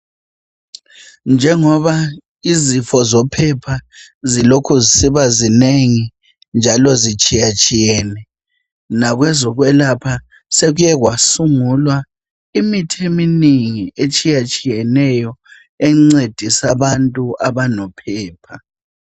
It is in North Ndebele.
Njengoba izifo zophepha zilokhu zisiba zinengi njalo zitshiyatshiyene. Nakwezokwelapha sekuke kwasungulwa imithi eminingi etshiyatshiyeneyo encedisa abantu abanophepha.